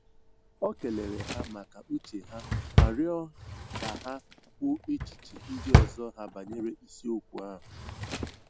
O kelere ha maka uche ha ma rịọ ka ha kwuo echiche ndị ọzọ ha banyere isiokwu ahụ